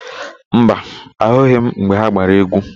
Mba, ahụghị m mgbe ha gbara égwú.